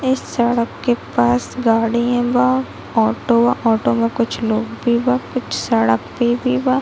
इस सड़क के पास गाड़ियां बा ऑटो ऑटो में कुछ लोग भी बा कुछ सड़क पे भी बा ।